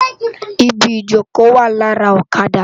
Ibi ijókö wá làrá òkàdá